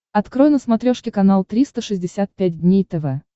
открой на смотрешке канал триста шестьдесят пять дней тв